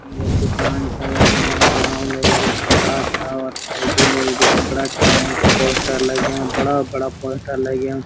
ये दूकान छा यखम महिलाओ लये भी कपड़ा छा और भेजी लये भी कपड़ा छा ऐंच पोस्टर लग्याँ बड़ा-बड़ा पोस्टर लग्याँ ।